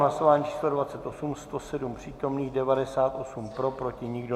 Hlasování číslo 28, 107 přítomných, 98 pro, proti nikdo.